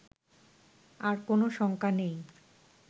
আর কোন শঙ্কা নেই